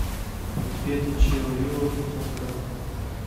конфеты чио рио пятьсот грамм